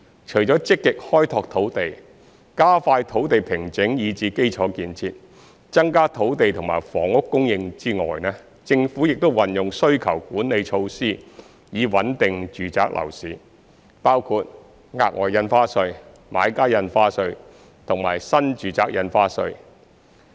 除積極開拓土地，加快土地平整以至基礎建設，增加土地及房屋供應外，政府亦運用需求管理措施以穩定住宅樓市，包括額外印花稅、買家印花稅及新住宅印花稅。